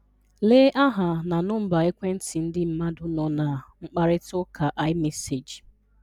Lee aha na nọmba ekwentị ndị mmadụ nọ na mkparịtaụka iMessage